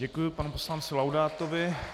Děkuji panu poslanci Laudátovi.